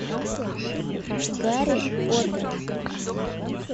гарри поттер